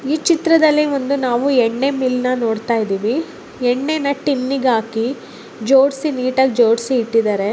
ಈ ಚಿತ್ರದಲ್ಲಿಒಂದು ನಾವು ಎಣ್ಣೆ ಮಿಲ್ ನೊಡ್ತಾ ಇದ್ದಿವಿ ಎಣ್ಣೆನ ಟಿನ್ನಿಗ ಹಾಕಿ ಜೊಡ್ಸಿ ನಿಟಾಗಿ ಜೊಡ್ಸಿ ಇಟಿದ್ದಾರೆ .